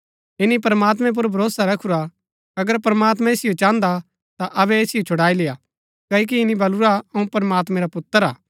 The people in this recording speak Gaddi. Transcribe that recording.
ईनी प्रमात्मैं पुर भरोसा रखुरा अगर प्रमात्मां ऐसिओ चाहन्दा ता अबै ऐसिओ छुड़ाई लेय्आ क्ओकि ईनी बलुरा अऊँ प्रमात्मैं रा पुत्र हा